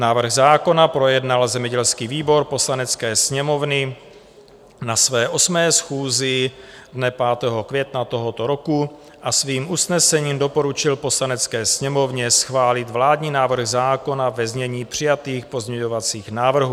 Návrh zákona projednal zemědělský výbor Poslanecké sněmovny na své 8. schůzi dne 5. května tohoto roku a svým usnesením doporučil Poslanecké sněmovně schválit vládní návrh zákona ve znění přijatých pozměňovacích návrhů.